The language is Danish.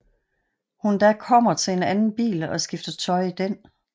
Hun da kommer til en anden bil og skifter tøj i den